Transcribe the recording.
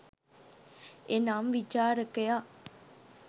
එනම් විචාරකයා